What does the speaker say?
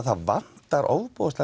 það vantar